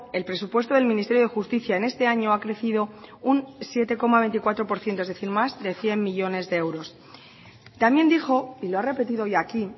el presupuesto del ministerio de justicia en este año ha crecido un siete coma veinticuatro por ciento es decir más de cien millónes de euros también dijo y lo ha repetido hoy aquí